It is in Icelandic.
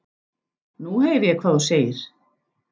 Nú heyri ég hvað þú segir.